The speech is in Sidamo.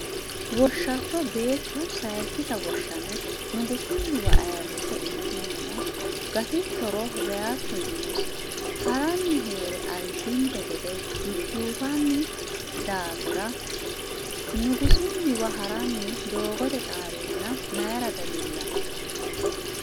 Woshshatto Beettu sayikkita woshshame nugusunniwa ayirrise ikkikkinni gatittoro reyaatto yiinosi ha’ranni hee’re albinte gede dhudhuufunni daafira nugusunniwa ha’ranni doogote xaadeenna, Mayra dadillatto?